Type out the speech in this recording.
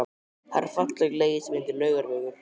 Það er falleg leið sem heitir Laugavegur.